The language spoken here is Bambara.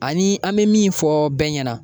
Ani an bɛ min fɔ bɛɛ ɲɛna